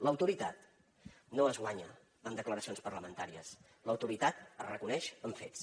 l’autoritat no es guanya en declaracions parlamentàries l’autoritat es reconeix amb fets